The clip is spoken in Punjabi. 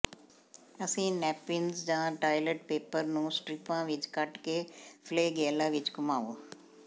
ਅਸੀਂ ਨੈਪਿਨਜ਼ ਜਾਂ ਟਾਇਲਟ ਪੇਪਰ ਨੂੰ ਸਟਰਿਪਾਂ ਵਿਚ ਕੱਟ ਕੇ ਫਲੈਗੈਲਾ ਵਿਚ ਘੁੰਮਾਓ